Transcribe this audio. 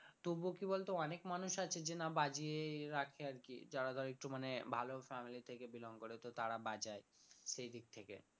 তবুও কি বলতো অনেক মানুষ আছে যে না বাজিয়েই রাখে আর কি যারা ধর একটু মানে ভালো family থেকে belong করে তো তারা বাজায় সেই দিক থেকে